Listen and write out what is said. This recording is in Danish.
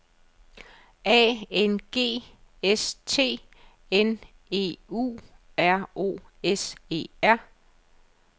A N G S T N E U R O S E R